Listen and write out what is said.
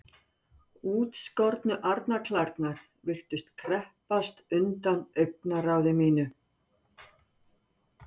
Útskornu arnarklærnar virtust kreppast undan augnaráði mínu.